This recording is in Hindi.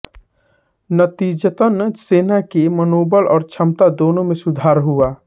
नतीजतन सेना की मनोबल और क्षमता दोनों में सुधार हुआ